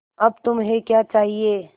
अब तुम्हें क्या चाहिए